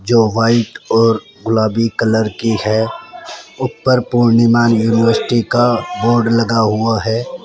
जो वाइट और गुलाबी कलर की है ऊपर पूर्णिमा यूनिवर्सिटी का बोर्ड लगा हुआ है।